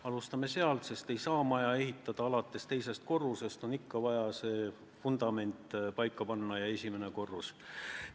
Alustame sealt, sest ei saa maja ehitada alates teisest korrusest, on ikka vaja vundament paika panna ja siis esimene korrus.